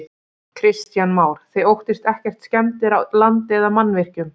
Kristján Már: Þið óttist ekkert skemmdir á landi eða mannvirkjum?